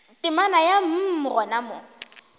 temana ya mm gona mo